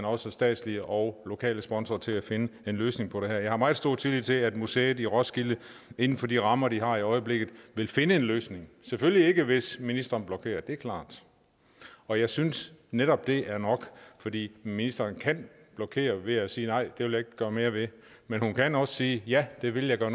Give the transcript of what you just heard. også statslige og lokale sponsorer til at finde en løsning på det her jeg har meget stor tillid til at museet i roskilde inden for de rammer de har i øjeblikket vil finde en løsning selvfølgelig ikke hvis ministeren blokerer det er klart og jeg synes netop det er nok fordi ministeren kan blokere ved at sige nej det vil jeg ikke gøre mere ved men hun kan også sige ja det vil jeg gøre